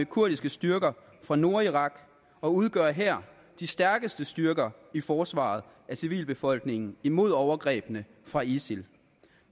kurdiske styrker fra nordirak og udgør her de stærkeste styrker i forsvaret af civilbefolkningen imod overgrebene fra isil